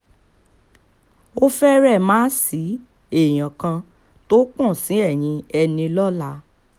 ó fẹ́rẹ̀ má ṣi èèyàn kan tó pọ̀n sí ẹ̀yin enílọ́lá